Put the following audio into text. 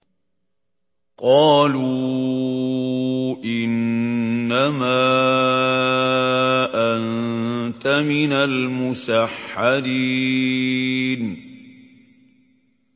قَالُوا إِنَّمَا أَنتَ مِنَ الْمُسَحَّرِينَ